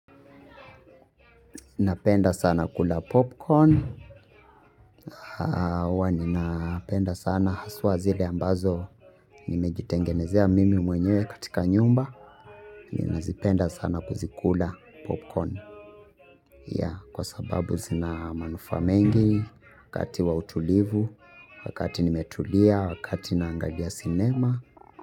Napenda sana kula popcorn. Huwa ninapenda sana haswa zile ambazo nimejitengenezea mimi mwenye katika nyumba ninazipenda sana kuzikula popcorn. Kwa sababu zina manufaa mengi wakati wa utulivu wakati nimetulia wakati naangalia sinema.